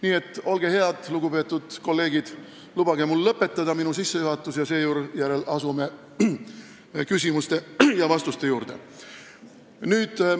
Nii et olge head, lugupeetud kolleegid, ja lubage mul oma sissejuhatus lõpetada, seejärel asume küsimuste ja vastuste juurde.